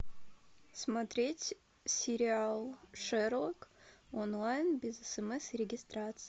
смотреть сериал шерлок онлайн без смс и регистрации